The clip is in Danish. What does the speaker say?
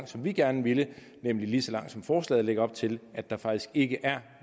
som vi gerne ville nemlig lige så lang tid som forslaget lægger op til altså at der faktisk ikke er